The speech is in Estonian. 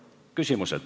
Nüüd küsimused.